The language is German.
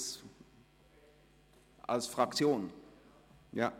– Als Fraktionssprecher?